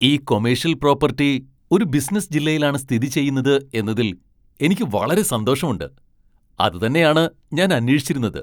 ഈ commercial property ഒരു business ജില്ലയിലാണ് സ്ഥിതിചെയ്യുന്നത് എന്നതിൽ എനിക്ക് വളരെ സന്തോഷമുണ്ട്. അതുതന്നെയാണ് ഞാൻ അന്വേഷിച്ചിരുന്നത്.